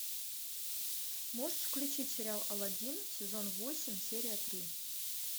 можешь включить сериал алладин сезон восемь серия три